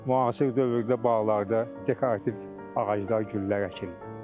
Müasir dövrdə bağlarda dekorativ ağaclar, güllər əkilir.